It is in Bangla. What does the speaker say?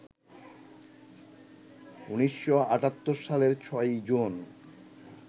১৯৭৮ সালের ৬ই জুন